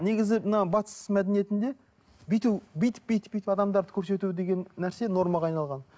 негізі мына батыс мәдениетінде бүйту бүйтіп бүйтіп бүйтіп адамдарды көрсету деген нәрсе нормаға айналған